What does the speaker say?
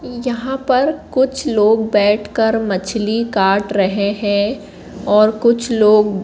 यहां पर कुछ लोग बैठकर मछली काट रहे हैं और कुछ लोग--